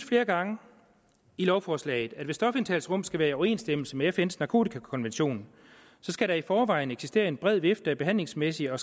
flere gange i lovforslaget at hvis stofindtagelsesrum skal være i overensstemmelse med fns narkotikakonvention skal der i forvejen eksistere en bred vifte af behandlingsmæssige og